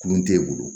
Kulon tɛ e bolo